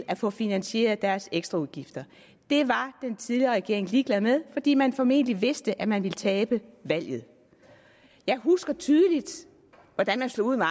at få finansieret deres ekstraudgifter det var den tidligere regering ligeglad med fordi man formentlig vidste at man ville tabe valget jeg husker tydeligt hvordan man slog ud med